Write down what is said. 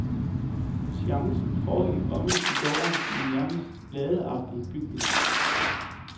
Seancen foregik omme i gården, i en nærmest ladeagtig bygning.